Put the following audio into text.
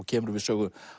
kemur við Sögu